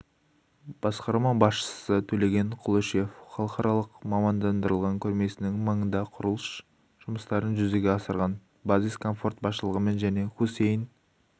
басқарма басшысы төлеген құлышев халықаралық мамандандырылған көрмесінің маңында құрылыс жұмыстарын жүзеге асырған базис-комфорт басшылығымен және хусейн